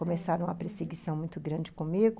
Começaram uma perseguição muito grande comigo.